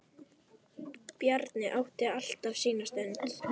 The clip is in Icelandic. Bjarni átti alltaf sína stund.